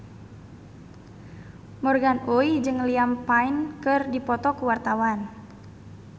Morgan Oey jeung Liam Payne keur dipoto ku wartawan